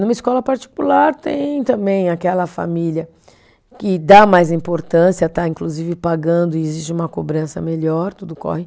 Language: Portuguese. Numa escola particular tem também aquela família que dá mais importância, está inclusive pagando e exige uma cobrança melhor, tudo corre.